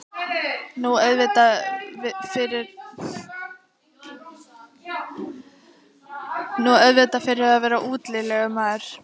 Nú, auðvitað fyrir að vera útilegumaður.